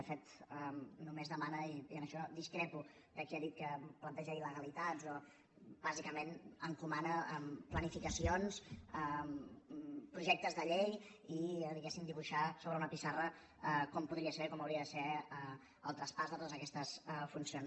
de fet només demana i en això discrepo de qui ha dit que planteja il·legalitats bàsicament encomana planificacions projectes de llei i diguem ne dibuixar sobre una pissarra com podria ser com hauria de ser el traspàs de totes aquestes funcions